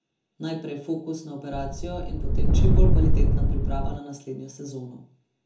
Najprej fokus na operacijo in potem čim bolj kvalitetna priprava na naslednjo sezono.